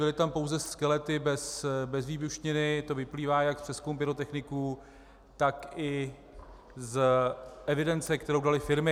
Byly tam pouze skelety bez výbušniny, to vyplývá jak z přezkumu pyrotechniků, tak i z evidence, kterou daly firmy.